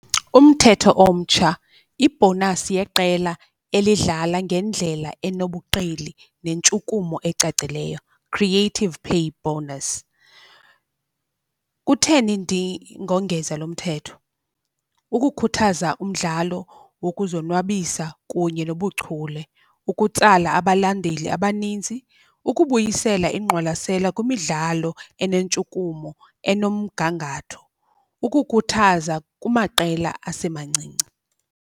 Umthetho omtsha, ibhonasi yeqela elidlala ngendlela enobuqili nentshukumo ecacileyo, creative pay bonus. Kutheni ndingongeza lo mthetho? Ukukhuthaza umdlalo wokuzonwabisa kunye nobuchule. Ukutsala abalandeli abaninzi, ukubuyisela ingqwalasela kwimidlalo enentshukumo enomgangatho. Ukukhuthaza kumaqela asemancinci.